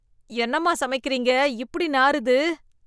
என்னம்மா சமைக்கிறீங்க இப்படி நாறுது